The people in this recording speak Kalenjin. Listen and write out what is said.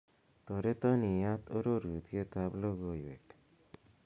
toreton iyat ororutyet at logoywek